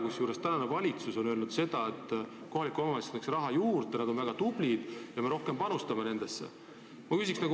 Kusjuures praegune valitsus on öelnud seda, et kohalik omavalitsus peaks saama raha juurde – nad on väga tublid ja me panustame nendesse rohkem.